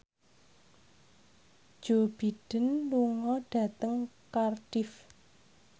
Joe Biden lunga dhateng Cardiff